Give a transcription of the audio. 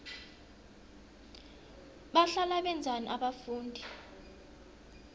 bahlala benzani abafundi